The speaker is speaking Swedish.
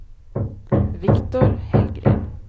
Viktor Hellgren